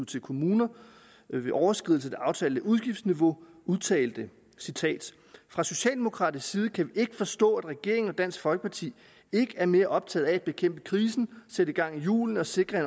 til kommuner ved overskridelse af det aftalte udgiftsniveau udtalte fra socialdemokratisk side kan vi ikke forstå at regeringen og dansk folkeparti ikke er mere optagede af at bekæmpe krisen sætte gang i hjulene og sikre